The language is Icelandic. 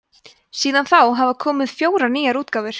síðan þá hafa komið fjórar nýjar útgáfur